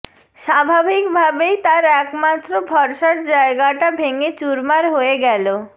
স্বাভাবিক ভাবেই তার একমাত্র ভরসার জায়গাটা ভেঙে চুরমার হয়ে গেল